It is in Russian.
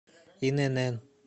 инн